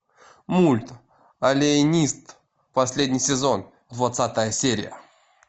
мульт алиенист последний сезон двадцатая серия